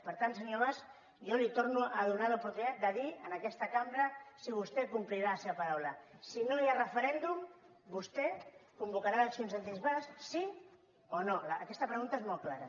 per tant senyor mas jo li torno a donar l’oportunitat de dir en aquesta cambra si vostè complirà la seva paraula si no hi ha referèndum vostè convocarà eleccions anticipades sí o no aquesta pregunta és molt clara